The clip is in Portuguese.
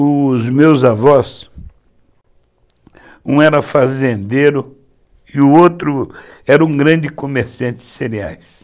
Os meus avós, um era fazendeiro e o outro era um grande comerciante de cereais.